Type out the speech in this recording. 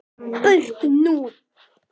Burt nú!